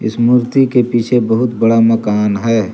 इस मूर्ति के पीछे बहुत बड़ा मकान है।